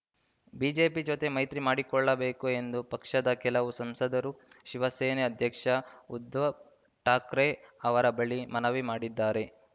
BJP ಜೊತೆ ಮೈತ್ರಿ ಮಾಡಿಕೊಳ್ಳಬೇಕು ಎಂದು ಪಕ್ಷದ ಕೆಲವು ಸಂಸದರು ಶಿವಸೇನೆ ಅಧ್ಯಕ್ಷ ಉದ್ಧವ್‌ ಠಾಕ್ರೆ ಅವರ ಬಳಿ ಮನವಿ ಮಾಡಿದ್ದಾರೆ